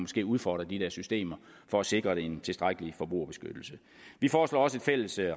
skal udfordre de der systemer for at sikre en tilstrækkelig forbrugerbeskyttelse vi foreslår også et fælles